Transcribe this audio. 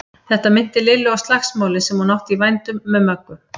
Þetta minnti Lillu á slagsmálin sem hún átti í vændum með Möggu.